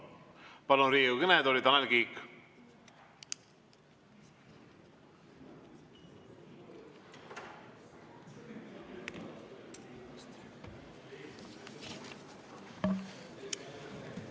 Palun Riigikogu kõnetooli, Tanel Kiik!